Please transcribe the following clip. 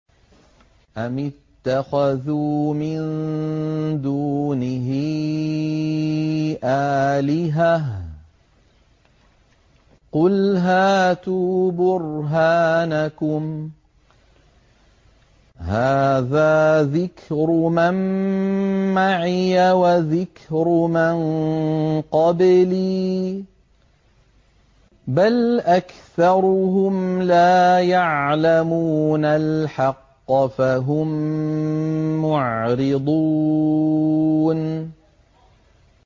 أَمِ اتَّخَذُوا مِن دُونِهِ آلِهَةً ۖ قُلْ هَاتُوا بُرْهَانَكُمْ ۖ هَٰذَا ذِكْرُ مَن مَّعِيَ وَذِكْرُ مَن قَبْلِي ۗ بَلْ أَكْثَرُهُمْ لَا يَعْلَمُونَ الْحَقَّ ۖ فَهُم مُّعْرِضُونَ